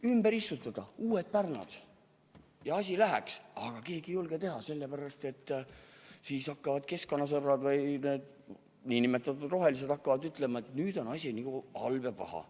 Tuleks istutada uued pärnad, aga keegi ei julge seda teha, sellepärast et kohe hakkavad keskkonnasõbrad, nn rohelised ütlema, et nüüd on asi halb ja paha.